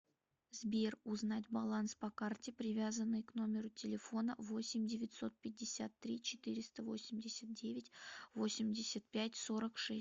сбер узнать баланс по карте привязанной к номеру телефона восемь девятьсот пятьдесят три четыреста восемьдесят девять восемьдесят пять сорок шесть